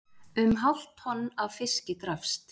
Um hálft tonn af fiski drapst